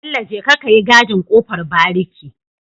Bello jeka kayi gadin kofar bariki